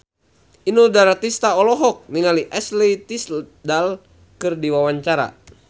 Inul Daratista olohok ningali Ashley Tisdale keur diwawancara